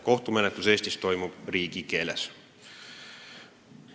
Kohtumenetlus Eestis toimub riigikeeles.